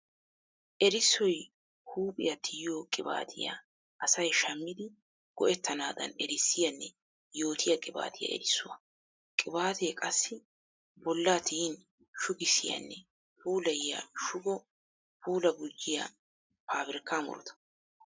Erissoy huuphiya tiyiyo qibaatiya asay shamiddi go'ettanadan erissiyanne yootiya qibatiya erissuwa. Qibate qassi bolla tiyin shuggissiyanne puulayiya shugo puula gujiya pabirkka murutta.